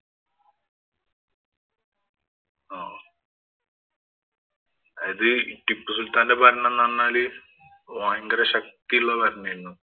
ആഹ് അതായത് ടിപ്പു സുല്‍ത്താന്‍റെ ഭരണം എന്ന് പറഞ്ഞാല് ഭയങ്കര ശക്തിയുള്ള ഭരണം ആയിരുന്നു.